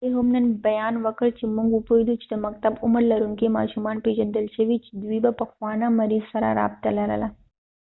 والي هم نن بیان ورکړ چې موږ وپوهیدو چې د مکتب عمر لرونکې ماشومان پیژندل شوي چې دوي د پخوا نه د مریض سره رابطه لرله